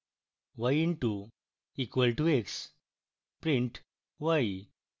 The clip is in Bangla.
y into equal to x